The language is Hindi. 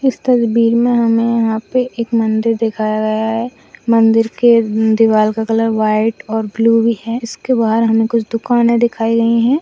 इस तस्वीर में हमें यहां पे एक मंदिर दिखाया गया हैं मंदिर के दीवार का कलर व्हाइट और ब्लू हैं हमें इसके बाहर हमे कुछ दुकाने दिखाई गई हैं।